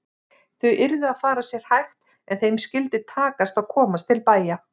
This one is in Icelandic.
Þau yrðu að fara sér hægt en þeim skyldi takast að komast til bæja!